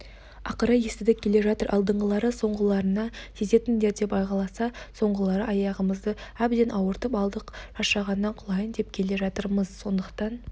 ақыры естідік келе жатыр алдыңғылары соңғыларына тездетіңдер деп айғайласа соңғылары аяғымызды әбден ауыртып алдық шаршағаннан құлайын деп келе жатырмыз сондықтан